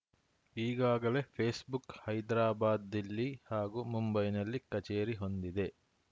ಈಗಾಗಲೇ ಫೇಸ್‌ಬುಕ್‌ ಹೈದರಾಬಾದ್‌ ದಿಲ್ಲಿ ಹಾಗೂ ಮುಂಬೈನಲ್ಲಿ ಕಚೇರಿ ಹೊಂದಿದೆ